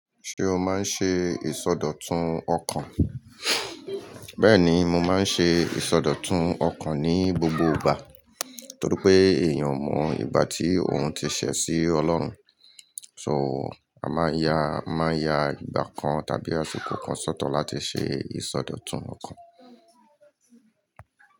Ṣé o máa ń ṣe ìsọdọ̀tun ọkàn? Bẹ́ẹ̀ni, mo máa ń ṣe ìsọdọ̀tun ọkàn ní gbogbo ìgbà torí pé èèyàn mọ ìgbá tí òun ti ṣẹ̀ sí Ọlọ́run. So, a máa ń ya, máa ya ìgbà kan tàbí aṣikò kan sọ́tọ̀ láti ṣe ìsọdọ̀tun ọkàn.